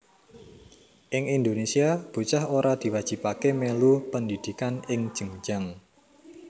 Ing Indonésia bocah ora diwajibaké mèlu pendhidhikan ing jenjang